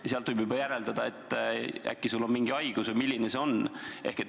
Ja edasi võib juba järeldada, mis haigus sul on.